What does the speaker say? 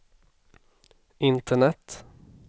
internet